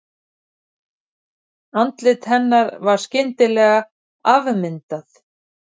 Andlit hennar skyndilega afmyndað.